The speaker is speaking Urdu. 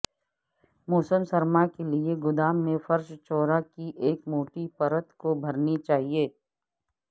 موسم سرما کے لئے گودام میں فرش چورا کی ایک موٹی پرت کو بھرنے چاہئے